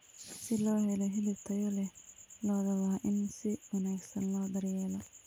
Si loo helo hilib tayo leh, lo'da waa in si wanaagsan loo daryeelo.